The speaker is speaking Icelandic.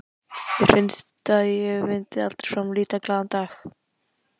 Mér fannst að ég myndi aldrei framar líta glaðan dag.